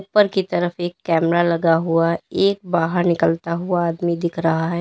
ऊपर की तरफ एक कैमरा लगा हुआ एक बाहर निकलता हुआ आदमी दिख रहा है।